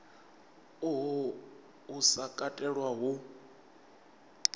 uhu u sa katelwa hu